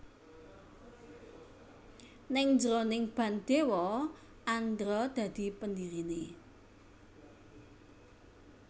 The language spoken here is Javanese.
Ning njeroning band Dewa Andra dadi pendiriné